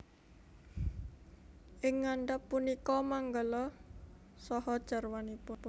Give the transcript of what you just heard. Ing ngandhap punika manggala saha jarwanipun